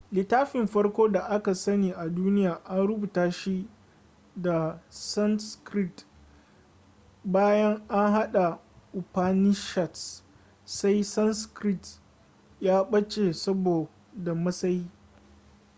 littafin farko da aka sani a duniya an rubuta shi da sanskrit bayan an haɗa upanishads sai sanskrit ya ɓace saboda matsayi